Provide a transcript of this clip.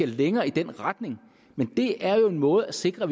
længere i den retning men det er jo en måde at sikre